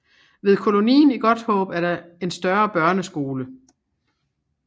Ved kolonien i Godthaab er der en større børneskole